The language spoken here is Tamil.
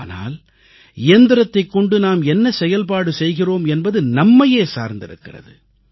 ஆனால் இயந்திரத்தைக் கொண்டு நாம் என்ன செயல்பாடு செய்கிறோம் என்பது நம்மையே சார்ந்திருக்கிறது